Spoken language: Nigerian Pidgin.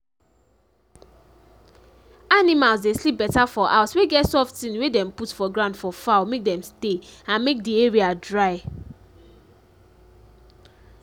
animals dey sleep better for house wey get soft thing wey dem put for ground for fowl make dem stay and make d area dry